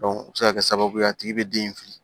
o bɛ se ka kɛ sababu ye a tigi bɛ den in fili